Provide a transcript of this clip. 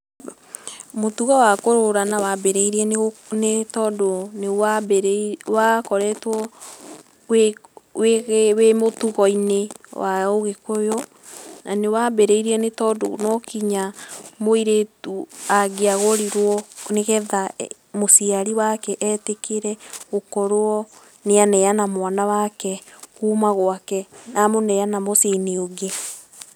Mũtũgo wa kũgũrana, wambĩrĩĩrĩe nĩtondũ nĩ wambĩrĩ wakoretwo wĩ wĩ mũtũgo-ĩnĩ wa ũgĩkuyu, nĩwambĩrĩĩrie nĩ tondũ no kĩnya mũĩrĩtũ angĩagũrĩo nĩ getha mũcĩarĩ wake etĩkĩre gũkorwo nĩaneana mwana wake kũũma gwake, na amũneana mũcĩe-ĩnĩ ũngĩ.